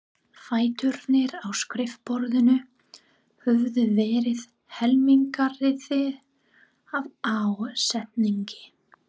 Fæturnir á skrifborðinu höfðu verið helmingaðir af ásetningi.